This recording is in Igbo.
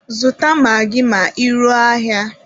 Zụta magị ma ị ruo n'ahịa!